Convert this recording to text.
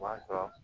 O b'a sɔrɔ